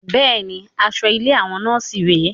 Bẹ́ẹ̀ni, aṣọ ilé àwọn nọ́ọ̀sì rè é